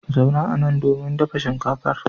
Zauna anan domin dafa shinkafar.